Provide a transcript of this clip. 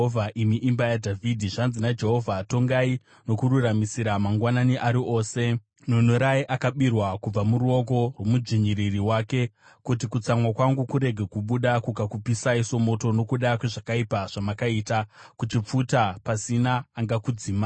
imi imba yaDhavhidhi. Zvanzi naJehovha: “ ‘Tongai nokururamisira mangwanani ari ose, nunurai akabirwa, kubva muruoko rwomudzvinyiriri wake, kuti kutsamwa kwangu kurege kubuda kukakupisai somoto, nokuda kwezvakaipa zvamakaita, kuchipfuta pasina angakudzima.